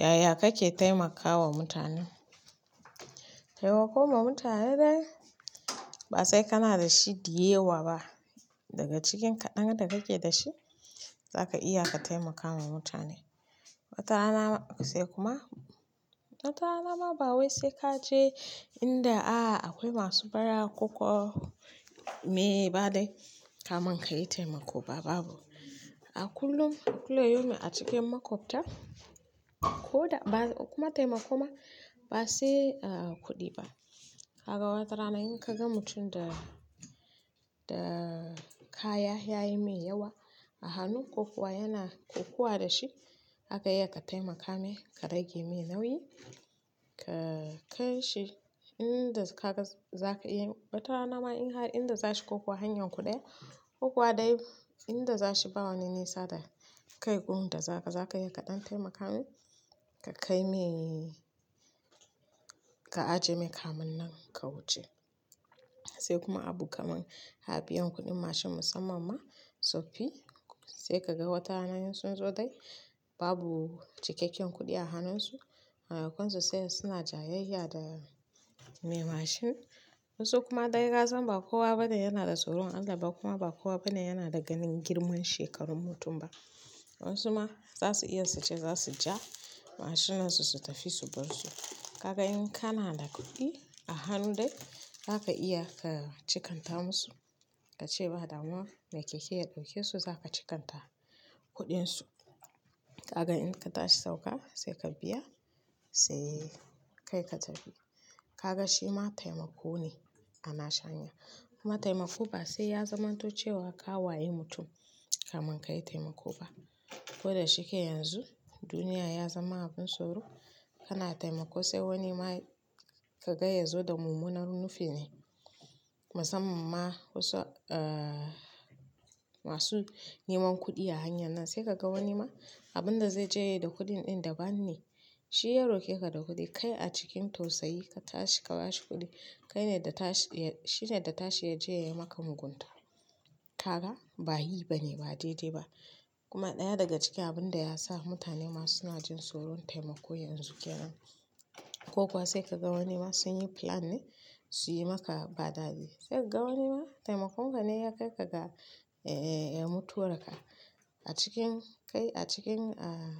Yaya kake taimakawa mutane? Taimako ma mutane dai ba sai kana da shi dayawa ba, daga cikin kaɗan da kake da shi zaka iya ka taimaka wa mutane. Wata rana sai kuma, watana ma ba wai sai ka je inda, a'a akwai masu bara koko me ba dai kaman ka yi taimako ba babu. A kullum, kullayaumi a cikin makwabta, ko da ba kuma taimako ma ba sai, ah, kuɗi ba. Kaga wata rana in ka ga mutum da, da kaya ya yi mai yawa a hannu ko kuwa yana kokuwa da shi, zaka iya ka taimaka mai ka rage mai nauyi, ka kai shi inda kaga za ka yi, watana ma in har inda za shi kokuwa hanyar kuɗaya, ko kuwa dai inda za shi ba wani nesa da kai kun da za ka, za ka iya kaɗan taimaka mai, ka kai mai, ka ajiye mai kaman nan ka wuce. Sai kuma abu kaman habiyan kuɗin mashin musamman ma tsoffi, sai ka ga watana sun zo dai babu cikakken kuɗi a hannunsu, maimakon sutsaya suna jayayya da mai mashin. Wasu kuma dai kasan ba kowa bane yana da tsoron Allah ba kuma ba kowa bane yana da ganin girman shekarun mutum ba. Wayansuma zasu iya suce zasuja mashinansu su tafi su barsu. Kaga in kana da kuɗi a hannudai, zaka iya ka cikanta masu ka ce ba damuwa mai keke ya ɗauke su za ka cikanta kuɗinsu. Kaga in ka tashi sauka sai ka biya sai kai ka tafi. Kaga shi ma taimako ne ana shanya. Kuma taimako ba sai ya zamanto cewa ka waye mutum kaman ka yi taimako ba. Ko da shike yanzu duniya ya zama abin tsoro, kana taimako sai wani ma ka ga ya zo da mumunar nufi ne. Musamman ma wasu, ah, masu neman kuɗi a hanyar nan sai kaga wani ma abin da zai je yi da kuɗin ɗin daban ne. Shi ya roke ka da kuɗi, kai a cikin tausayi ka tashi ka ba shi kuɗi, kai ne da tashi, shine da tashi ya je ya yi maka mugunta. Kaka ba yi bane, ba dai-dai ba. Kuma ɗaya daga cikin abin da ya sa mutane masuna jin tsoron taimako yanzu kyanan. Ko kuwa sai kaga wani ma sun yi plan ne su yi maka badadi. Sai ka ga wani ma taimakon ka ne ya kai ka ga, eh, ya mutuwarka. A cikin kai, a cikin, ah,